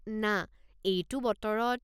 না, এইটো বতৰত?